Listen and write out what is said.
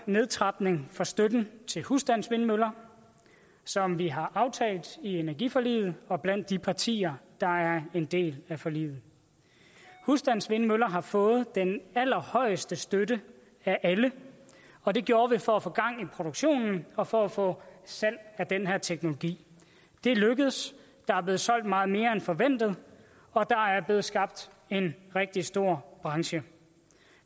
nedtrapning af støtten til husstandsvindmøller som vi har aftalt i energiforliget og blandt de partier der er en del af forliget husstandsvindmøller har fået den allerhøjeste støtte af alle og det gjorde vi for at få gang i produktionen og for at få salg af den her teknologi det er lykkedes der er blevet solgt meget mere end forventet og der er blevet skabt en rigtig stor branche